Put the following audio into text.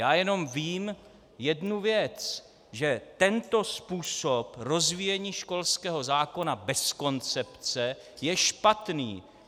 Já jenom vím jednu věc, že tento způsob rozvíjení školského zákona bez koncepce je špatný!